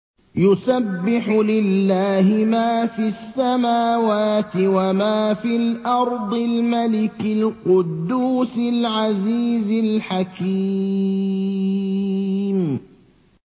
يُسَبِّحُ لِلَّهِ مَا فِي السَّمَاوَاتِ وَمَا فِي الْأَرْضِ الْمَلِكِ الْقُدُّوسِ الْعَزِيزِ الْحَكِيمِ